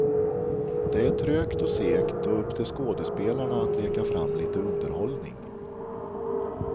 Det är trögt och segt och upp till skådespelarna att leka fram lite underhållning.